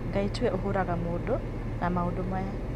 Ngai tiwe ũhũraga mũndũ na maũndũ maya